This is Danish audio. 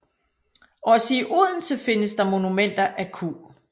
Også i Odense findes der monumenter af Q